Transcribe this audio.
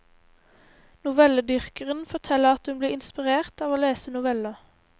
Novelledyrkeren forteller at hun blir inspirert av å lese noveller.